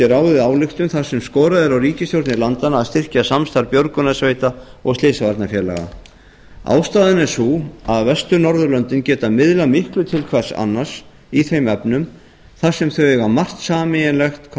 ráðið ályktun þarsem skorað er á ríkisstjórnir landanna að styrkja samstarf björgunarsveita og slysavarnarfelagaað styrkja samstarf björgunarsveita og slysavarnafélaga ástæðan er sú að vestur norðurlöndin geta miðlað miklu til hvors annars í þeim efnum þar sem þau eiga margt sameiginlegt hvað